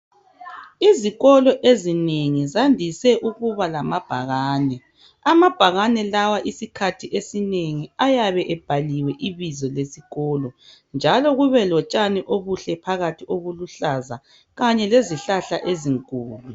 Izikolo ezinengi zandise ukuba lamabhakane. Amabhakane lawa isikhathi esinengi ayabe ebhaliwe ibizo lesikolo njalo kube lotshani obuhle phakathi obuluhlaza kanye lezihlahla ezinkulu.